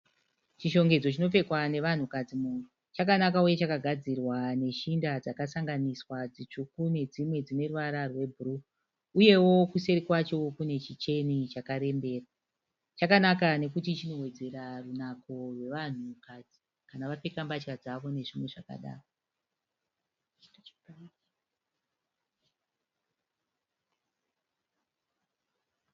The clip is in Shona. Chishongedzo chinopfekwa nevanhu kadzi muhuro. Chakanaka uye chakagadzirwa neshinda dzakasanganiswa dzitsvuku nedzimwe dzineruvara rwe bhuruu. Uyewo kuseri kwacho kune chicheni chakarembera. Chakanaka nekuti chinowedzera runako rwevanhu kadzi kana vapfeka mbatya dzavo nezvimwe zvakadaro.